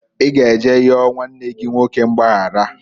I ga eje yọọ nwanne gi nwoke mgbayaraǃ